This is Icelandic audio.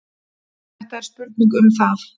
Þetta er spurning um það.